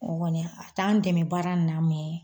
O kɔni a t'an dɛmɛ baara in na mɛ